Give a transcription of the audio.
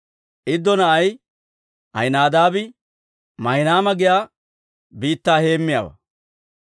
Iddo na'ay Ahinaadaabi Maahinayma giyaa biittaa heemmiyaawaa.